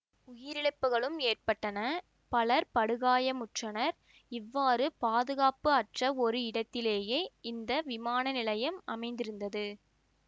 உயிரிழப்புக்களும் ஏற்பட்டன பலர் படுகாயமுற்றனர் இவ்வாறு பாதுகாப்பு அற்ற ஒரு இடத்திலேயே இந்த விமான நிலையம் அமைந்திருந்து